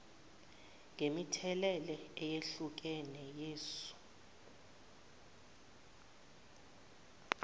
ngemithelela eyehlukene yesu